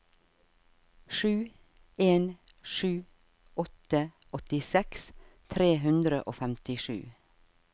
sju en sju åtte åttiseks tre hundre og femtisju